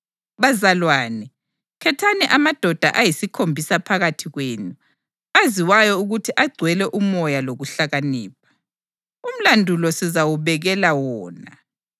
Bazalwane, khethani amadoda ayisikhombisa phakathi kwenu aziwayo ukuthi agcwele uMoya lokuhlakanipha. Umlandu lo sizawubekela wona